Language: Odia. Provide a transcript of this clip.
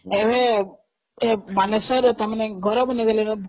ଏବେ ମାନେଶ୍ଵର ରେ ଘର ବନେଇ ଦେଲେଣି